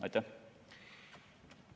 Aitäh!